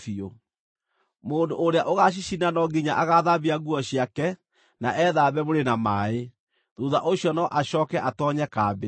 Mũndũ ũrĩa ũgacicina no nginya agaathambia nguo ciake na ethambe mwĩrĩ na maaĩ; thuutha ũcio no acooke atoonye kambĩ.